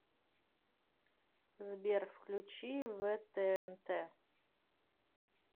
сбер включи вэ тэ эн тэ